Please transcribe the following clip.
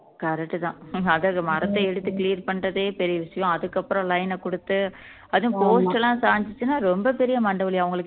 correct தான் அதாவது மரத்த எடுத்து clear பண்றதே பெரிய விஷயம் அதுக்கப்புறம் line அ கொடுத்து அதுவும் post எல்லாம் சாய்ஞ்சுச்சுன்னா ரொம்ப பெரிய மண்டை வலி அவுங்களுக்கு